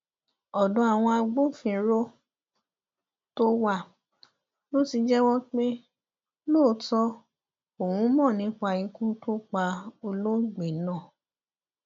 ọdọ àwọn agbófinró tó wà ló ti jẹwọ pé lóòótọ òun mọ nípa ikú tó pa olóògbé náà